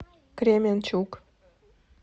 кременчуг